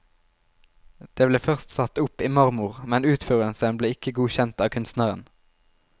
De ble først satt opp i marmor, men utførelsen ble ikke godkjent av kunstneren.